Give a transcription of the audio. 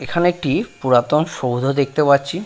এখানে একটি পুরাতন সৌদ দেখতে পাচ্ছি ।